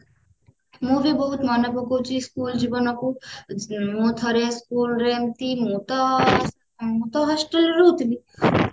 ମୁଁ ବି ବହୁତ ମନେ ପକଉଛି school ଜୀବନକୁ ମୁଁ ଥରେ school ରେ ଏମିତି ମୁଁ ତ ମୁଁ ତ hostel ରେ ରହୁଥିଲି